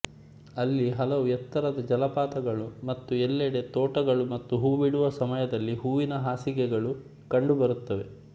ಅಲ್ಲಿ ಹಲವು ಎತ್ತರದ ಜಲಪಾತಗಳು ಮತ್ತು ಎಲ್ಲೆಡೆ ತೋಟಗಳು ಮತ್ತು ಹೂಬಿಡುವ ಸಮಯದಲ್ಲಿ ಹೂವಿನ ಹಾಸಿಗೆಗಳು ಕಂಡುಬರುತ್ತವೆ